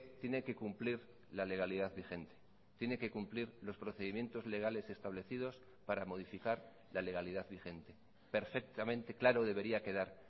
tiene que cumplir la legalidad vigente tiene que cumplir los procedimientos legales establecidos para modificar la legalidad vigente perfectamente claro debería quedar